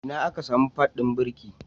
Ina aka samu pad ɗin birki?